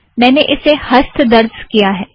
मैंने इसे हस्त दर्ज़ किया है